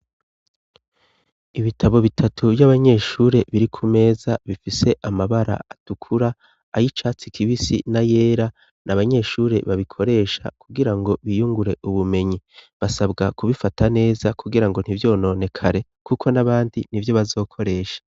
Ibitabo bitatu vy'abanyeshuri biri ku meza bifise amabara atukura ay'icatsi kibisi n'ayera n'abanyeshuri babikoresha kugira ngo biyungure ubumenyi basabwa kubifata neza kugira ngo ntivyononekare kuko n'abandi n'ivyo bazokoresha.